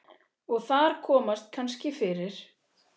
Og þar komast kannski fyrir